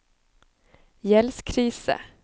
gjeldskrise